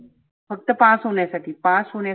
फक्त pass होण्यासाठी pass होण्या